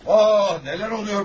Aaah, nələr oluyor burada!